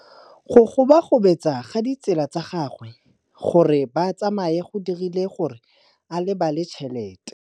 Go gobagobetsa ga ditsala tsa gagwe, gore ba tsamaye go dirile gore a lebale tšhelete.